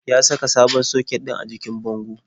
Ya saka sabon soket ɗin jikin bango.